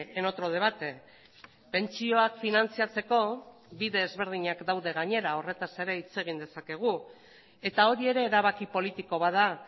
en otro debate pentsioak finantzatzeko bide ezberdinak daude gainera horretaz ere hitz egin dezakegu eta hori ere erabaki politiko bat da